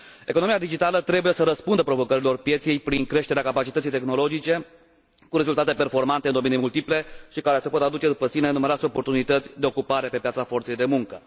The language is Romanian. Economia digitală trebuie să răspundă provocărilor pieței prin creșterea capacității tehnologice, cu rezultate performante în domenii multiple și care pot aduce după sine numeroase oportunități de ocupare pe piața forței de muncă.